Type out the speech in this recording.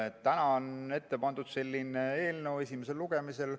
Täna on pandud selline eelnõu esimesele lugemisele.